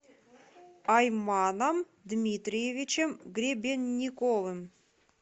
айманом дмитриевичем гребенниковым